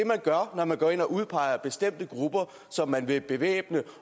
gør når man går ind og udpeger bestemte grupper som man vil bevæbne